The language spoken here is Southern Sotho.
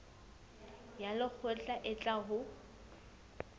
ya lekgotla e tla ho